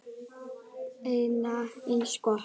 Enda eins gott.